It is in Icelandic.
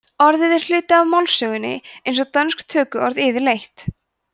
orðið er hluti af málsögunni eins og dönsk tökuorð yfirleitt